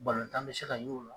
Balontan bɛ se ka y'o la!